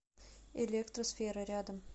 электро сфера рядом